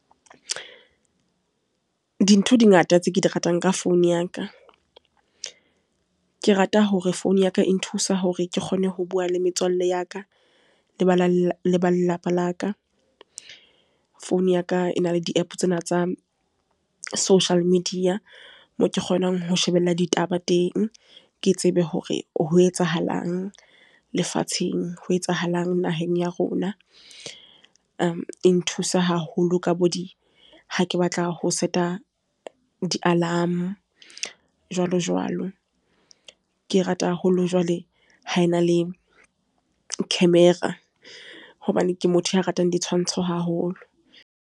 Dintho di ngata tse ke di ratang ka founu ya ka, ke rata hore founu ya ka e nthusa hore ke kgone ho bua le metswalle ya ka, le ba lelapa la ka. Founu ya ka e na le di App tsena tsa social media, moo ke kgonang ho shebella ditaba teng, ke tsebe hore ho etsahalang lefatsheng, ho etsahalang naheng ya rona. e nthusa haholo ha ke batla ho seta di alarm jwalo, jwalo. Ke rata haholo jwale ho ena le camera, hobane ke motho ya ratang ditshwantsho haholo.